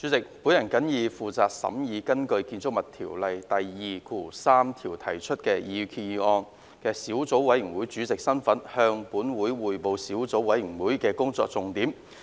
主席，我謹以負責審議根據《建築物條例》第23條提出的擬議決議案的小組委員會主席身份，向本會匯報小組委員會的工作重點。